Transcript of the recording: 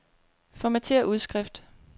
Formatér udskrift.